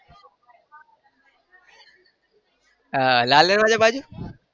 આહ લાલ દરવાજા બાજુ?